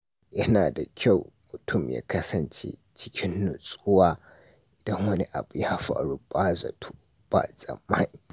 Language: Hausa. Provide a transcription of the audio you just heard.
Yana da kyau mutum ya kasance cikin nutsuwa idan wani abu ya faru ba zato ba tsammani.